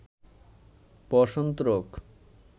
বসন্ত রোগ